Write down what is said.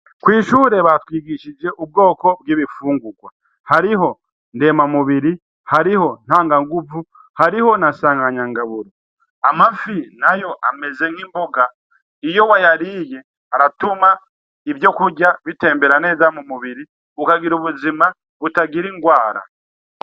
Kw'ishure batwigishije ubwoko bw'ibifungurwa. Hariho ndemamubiri, hariho ntanganguvu, hariho na nsanganyangaburo. Amafi nayo ameze n'imboga. Iyo wayariye aratuma ivyokurya bitembera neza mu mubiri, ukagira ubuzima butagira indwara.